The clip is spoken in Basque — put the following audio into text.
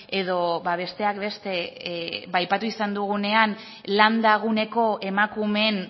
edo besteak beste aipatu izan dugunean landa guneko emakumeen